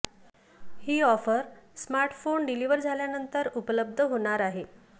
ही offer smartphone deliver झाल्यानंतर उपलब्ध होणार आहे